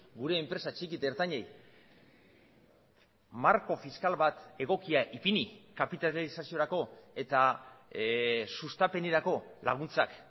gure enpresa txiki eta ertainei marko fiskal bat egokia ipini kapitalizaziorako eta sustapenerako laguntzak